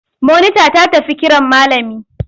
Monita ta tafi kiran malami.